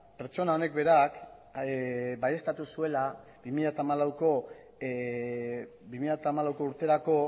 pertsona honek berak baieztatu zuela bi mila hamalau urterako